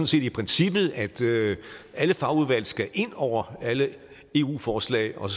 set i princippet at alle fagudvalg skal ind over alle eu forslag og